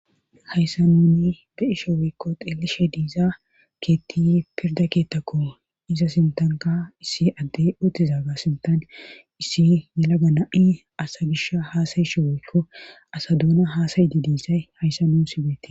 hayssa nuuni be'isho woykko xeelishe diizaa keetti pirda keettakko iza sintanka issi adde utizaga sintan issi mela gana7i asa gish haasayishe woykko asa duuna haasayiti diisay hayssa nuu sibeei